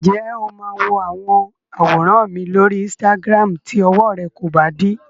Ǹjẹ́ o máa wo àwọn àwòrán mi lóri Instagram tí ọwọ rẹ kò bá dí?